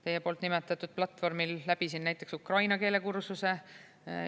Teie nimetatud platvormil läbisin näiteks ukraina keele kursuse.